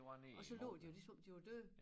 Og så lå de jo ligesom om de var døde